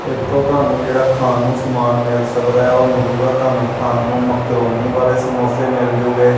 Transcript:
ਇੱਥੋਂ ਤੁਹਾਨੂੰ ਜਿਹੜਾ ਖਾਣ ਨੂੰ ਸਮਾਨ ਮਿੱਲ ਸਕਦਾ ਹੈ ਔਰ ਮਿਲੂਗਾ ਤੁਹਾਨੂੰ ਖਾਣ ਨੂੰ ਮੈਕਰੋਨੀ ਵਾਲੇ ਸਮੋਸੇ ਮਿੱਲਜੂਗੇ।